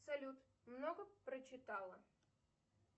салют много прочитала